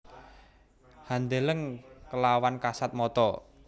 Handeleng kelawan kasat mata